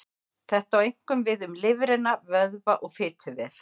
Þetta á einkum við um lifrina, vöðva og fituvef.